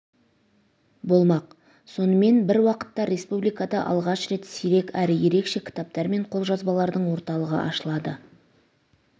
болмақ сонымен бір уақытта республикада алғаш рет сирек әрі ерекше кітаптар мен қолжазбалардың орталығы ашылады